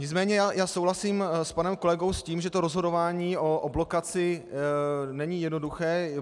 Nicméně já souhlasím s panem kolegou, s tím, že to rozhodování o blokaci není jednoduché.